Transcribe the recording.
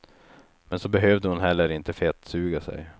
Men så behövde hon heller inte fettsuga sig.